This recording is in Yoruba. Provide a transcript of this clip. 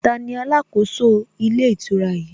Taani alákòóso ilé ìtura yìí?